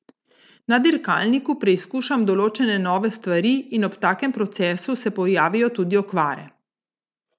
Na dirkalniku preizkušam določene nove stvari in ob takem procesu se pojavijo tudi okvare.